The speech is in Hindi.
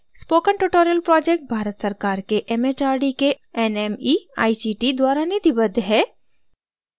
spoken tutorial project भारत सरकार के mhrd के nmeict द्वारा निधिबद्ध है